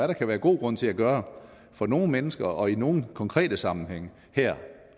der kan være god grund til at gøre for nogle mennesker og i nogle konkrete sammenhænge her